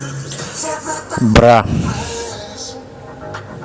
бра